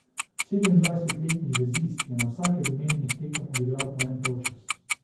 Sedemindvajsetletni vezist je na vsaki od omenjenih tekem odigral po en polčas.